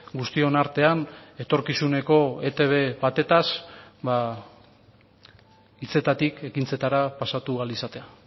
guztion artean etorkizuneko etb batez ba hitzetatik ekintzetara pasatu ahal izatea